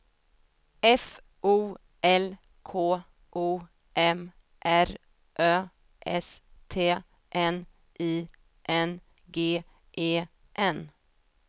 F O L K O M R Ö S T N I N G E N